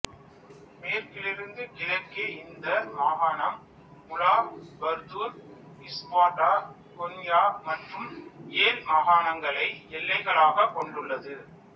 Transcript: மேற்கிலிருந்து கிழக்கே இந்த மாகாணம் முலா பர்தூர் இஸ்பார்டா கொன்யா மற்றும் ஏல் மாகாணங்களை எல்லைகளாக கொண்டுள்ளது